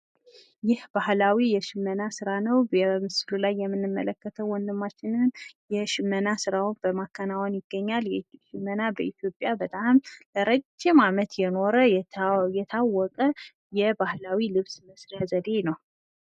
ይህ ባሕላዊ የሽመና ስራ ነው ። በምስሉ ላይ የምንመለከተው ወንድማችን የሽመና ስራ እየሰራ ይገኛል ። የሽመና ስራ በኢትዮጵያ ለረጅም ጊዜ የቆየ ነው።